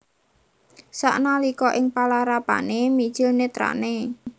Sanalika ing palarapané mijil nètrané